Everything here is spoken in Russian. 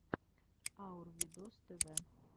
аур видос тв